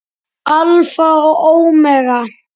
Alfa og ómega.